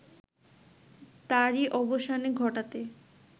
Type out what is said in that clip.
তারই অবসান ঘটাতে